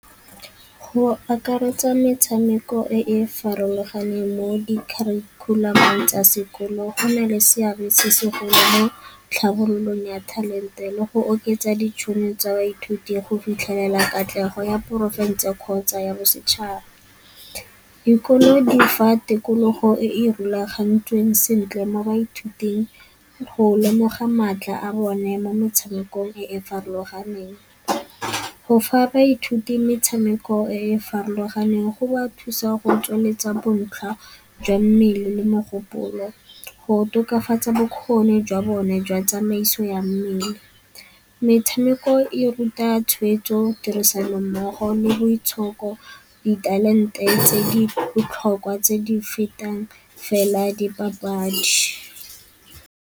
Go akaretsa metshameko e e farologaneng mo di kharikhulamong tsa sekolo go na le seabe se segolo mo tlhabololong ya talente le go oketsa ditšhono tsa baithuti go fitlhelela katlego ya porofense kgotsa ya bosetšhaba. Dikolo di fa tikologo e e rulagantsweng sentle mo baithuting, go lemoga maatla a bone mo motshamekong e e farologaneng. Go fa baithuti metshameko e e farologaneng go ba thusa go tsweletsa bontlha jwa mmele le mogopolo, go tokafatsa bokgoni jwa bone jwa tsamaiso ya mmele. Metshameko e ruta tshwetso tirisanommogo le boitshoko, ditalente tse di botlhokwa tse di fetang fela dipapadi.